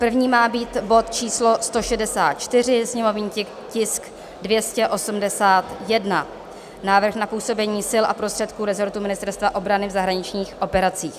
První má být bod číslo 164, sněmovní tisk 281, návrh na působení sil a prostředků rezortu Ministerstva obrany v zahraničních operacích;